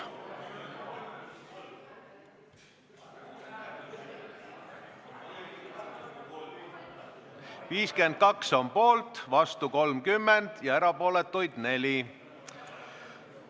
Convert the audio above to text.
52 on poolt, vastu 3 ja erapooletuid 4.